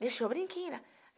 Deixou o brinquinho lá.